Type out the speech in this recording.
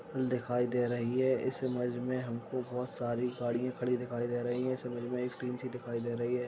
दिखाई दे रही है इस इमेज में हमको बहुत सारी गाड़िया खड़ी दिखाई दे रही हैं इस इमेज में एक टिन सी दिखाई दे रही है।